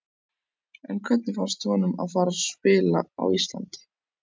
En hvernig fannst honum að fara að spila á Íslandi?